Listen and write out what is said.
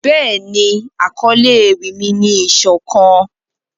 Béèni, akọle ewi mi ni 'isokan'.